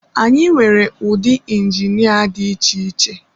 Anyị nwere ụdị injinia dị iche iche.